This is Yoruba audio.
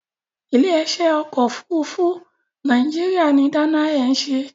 Ilé-iṣẹ́ ọkọ̀-òfurufú Nàìjíríà ni Dana Air ń ṣe.